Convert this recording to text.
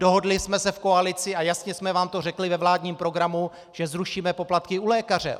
Dohodli jsme se v koalici a jasně jsme vám to řekli ve vládním programu, že zrušíme poplatky u lékaře.